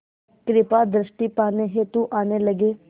कृपा दृष्टि पाने हेतु आने लगे